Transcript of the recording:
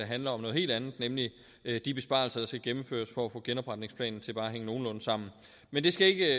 handler om noget helt andet nemlig de besparelser der skal gennemføres for at få genopretningsplanen til bare at hænge nogenlunde sammen men det skal ikke